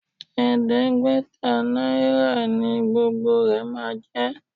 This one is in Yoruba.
Ẹ̀ẹ́dẹ́gbẹ̀ta náírà ni gbogbo rẹ máa jẹ́.